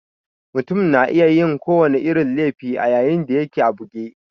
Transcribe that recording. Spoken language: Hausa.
Mutum na iya yin ko wani irin laifi a yayin da yake a buge